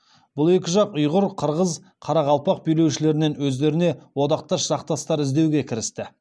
бұл екі жақ ұйғыр қырғыз қарақалпақ билеушілерінен өздеріне одақтас жақтастар іздеуге кірісті